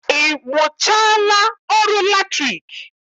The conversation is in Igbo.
Ị mụchaala ọrụ latriki?